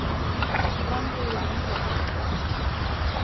Framrúður bíla brota